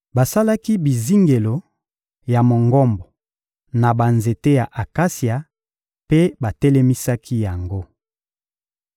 Basalaki bizingelo ya Mongombo na banzete ya akasia mpe batelemisaki yango.